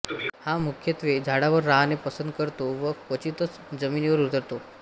हा मुख्यत्वे झाडावर राहणे पसंत करतो व क्वचितच जमिनीवर उतरतो